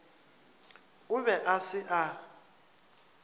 o be a se a